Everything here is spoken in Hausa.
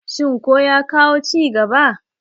shin ko ya kawo ci gaba?